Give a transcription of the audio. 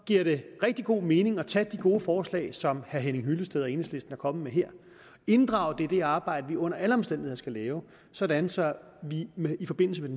giver det rigtig god mening at tage de gode forslag som herre henning hyllested og enhedslisten er kommet med her og inddrage dem i det arbejde vi under alle omstændigheder skal lave sådan så vi i forbindelse med